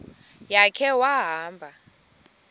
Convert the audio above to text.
ya khe wahamba